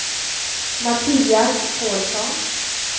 Mattias Pålsson